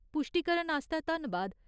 पुश्टीकरण आस्तै धन्नबाद।